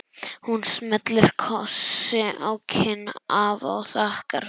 Hún smellir kossi á kinn afa og þakkar fyrir sig.